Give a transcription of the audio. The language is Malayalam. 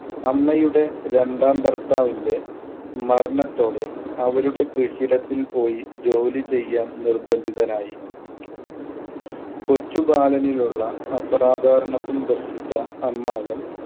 അമ്മയുടെ രണ്ടാം ഭർത്താവിന്‍റെ മരണത്തോടെ അവരുടെ കൃഷിയിടത്തിൽ പോയി ജോലി ചെയ്യാൻ നിർബന്ധിതനായി. കൊച്ചു ബാലനിൽ ഉള്ള അസാധാരണത്വം ദർശിച്ച അമ്മാവൻ